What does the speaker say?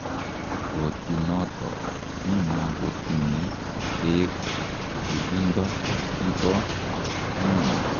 Botinotok ki makotinyei beek ak tililindo ki bo ng'ony.